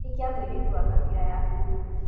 Hikia mũirĩtu wa Kabira yaku.